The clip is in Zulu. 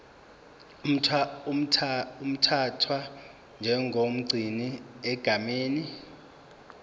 uthathwa njengomgcini egameni